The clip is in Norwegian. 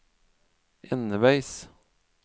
enveis